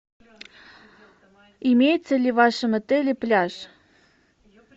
имеется ли в вашем отеле пляж